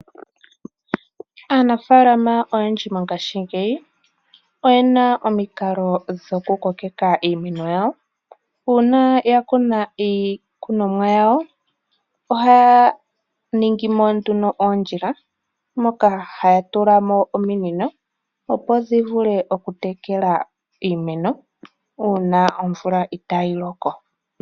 Aanafaalama oyendji mongaashingeyi oyena omikalo dhokukokeka iimeno yawo, uuna yakuna iikunonwa yawo ohaya ningimo oondjila moka haya tulamo ominino opo dhivulu okutekela iimeno uuna omvula itaayiloko.